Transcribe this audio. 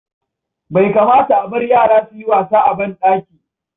Bai kamata a bar yara su yi wasa a banɗaki.